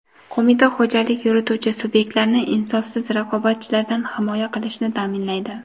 Qo‘mita xo‘jalik yurituvchi subyektlarni insofsiz raqobatchilardan himoya qilishni taʼminlaydi.